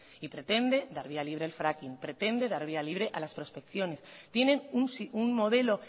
y pretende dar vía libre al fracking pretende dar vía libre a las prospecciones tienen un modelo